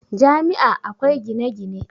Jami' a akwai gine-gine